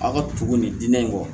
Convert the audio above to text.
A ka tugu ni diinɛ in kɔ